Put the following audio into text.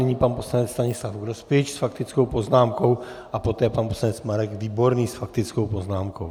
Nyní pan poslanec Stanislav Grospič s faktickou poznámkou a poté pan poslanec Marek Výborný s faktickou poznámkou.